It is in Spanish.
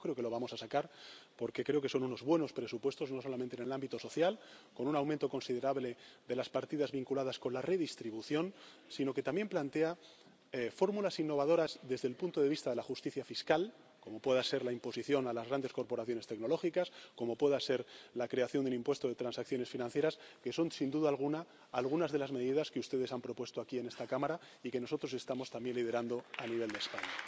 Y yo creo que lo vamos a sacar, porque creo que son unos buenos presupuestos, no solamente en el ámbito social, con un aumento considerable de las partidas vinculadas a la redistribución, sino que también plantean fórmulas innovadoras desde el punto de vista de la justicia fiscal, como pueda ser la imposición a las grandes corporaciones tecnológicas, como pueda ser la creación del impuesto de transacciones financieras, que son, sin duda alguna, algunas de las medidas que ustedes han propuesto aquí en esta Cámara y que nosotros estamos también liderando a nivel de España.